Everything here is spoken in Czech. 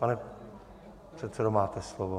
Pane předsedo, máte slovo.